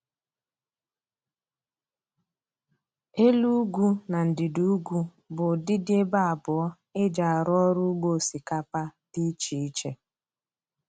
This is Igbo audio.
Elu ugwu na ndịda ugwu bụ ụdịdi ebe abụọ e ji arụ ọrụ ugbo osikapa dị iche iche